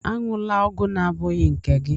Aṅụla ọgwụ abụghị nke gị!